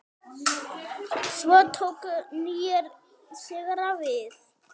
Svo tóku nýir sigrar við.